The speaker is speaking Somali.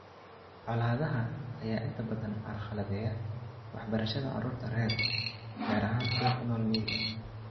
Colaadaha ayaa inta badan carqaladeeya waxbarashada carruurta rer , gaar ahaan kuwa ku nool miyiga.